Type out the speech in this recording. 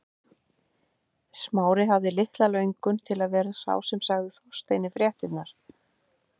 Smári hafði litla löngun til að vera sá sem segði Þorsteini fréttirnar.